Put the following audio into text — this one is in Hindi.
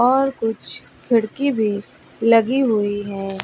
और कुछ खिड़की भी लगी हुई है।